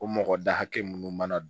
O mɔgɔ da hakɛ munnu mana